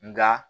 Nka